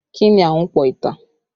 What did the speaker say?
Kí ni Ahunpọ̀ ìtàn?